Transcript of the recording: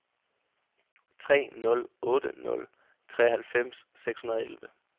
otte nul otte nul treoghalvfems seks hundrede og elleve